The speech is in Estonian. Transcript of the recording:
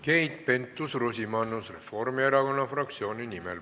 Keit Pentus-Rosimannus Reformierakonna fraktsiooni nimel.